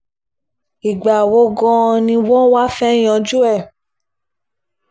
ìgbà wo gan-an ni wọ́n wáá fẹ́ẹ́ yanjú ẹ̀